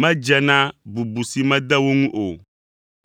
medze na bubu si mede wo ŋu o,